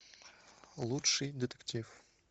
лучший детектив